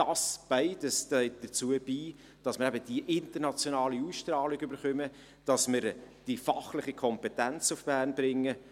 Dies beides trägt dazu bei, dass wir die internationale Ausstrahlung bekommen, dass wir die fachliche Kompetenz nach Bern bringen.